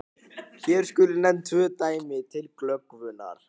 Hér skulu nefnd tvö dæmi til glöggvunar.